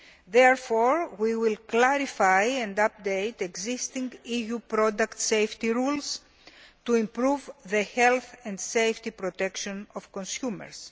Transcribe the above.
Therefore, we will clarify and update existing EU product safety rules to improve the health and safety protection of consumers.